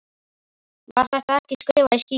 Var þetta ekki skrifað í skýin?